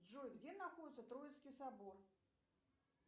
джой где находится троицкий собор